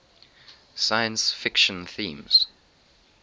science fiction themes